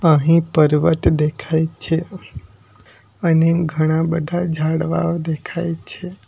અહીં પર્વત દેખાય છે અને ઘણાંબધા ઝાડવાઓ દેખાય છે.